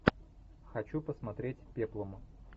хочу посмотреть пеплум